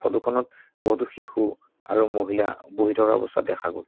Photo খনত বহুতো শিশু আৰু মহিলা বহি থকা অৱস্থাত দেখা গ'ল।